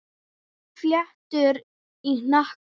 Fléttur í hnakka.